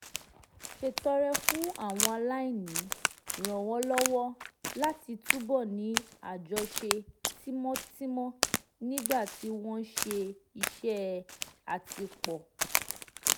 ṣètọrẹ fún àwọn aláìní ràn wọ́n lọ́wọ́ láti túbọ̀ ní àjọṣe tímọ́tímọ́ nígbà tí wọ́n ń ṣe iṣẹ́ àtìpó